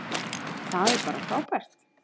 Það er bara frábært.